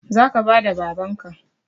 Zaka bada babanka